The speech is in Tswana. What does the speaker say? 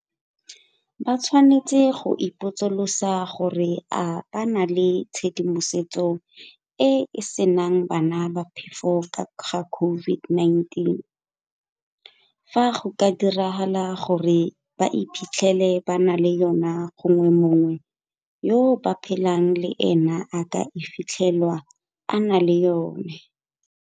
Ba tshwanetse go ipotsolotsa gore a ba na le tshedimosetso e e senang bana ba phefo ka ga COVID -19 fa go ka diragala gore ba iphitlhele ba na le yona gongwe mongwe yo ba phelang le ena a ka fitlhelwa a na le yona.